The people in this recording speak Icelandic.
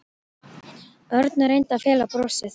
Örn og reyndi að fela brosið.